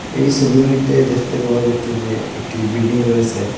এই ছবির মইধ্যে দেখতে পাওয়া যাচ্ছে যে একটি বিল্ডিং রয়েছে।